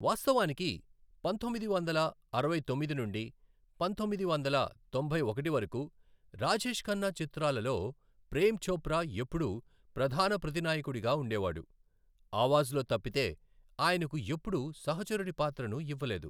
వాస్తవానికి, పంతొమ్మిది వందల అరవై తొమ్మిది నుండి పంతొమ్మిది వందల తొంభై ఒకటి వరకు రాజేష్ ఖన్నా చిత్రాలలో ప్రేమ్ చోప్రా ఎప్పుడూ ప్రధాన ప్రతినాయకుడిగా ఉండేవాడు, ఆవాజ్లో తప్పితే ఆయనకు ఎప్పుడూ సహచరుడి పాత్రను ఇవ్వలేదు.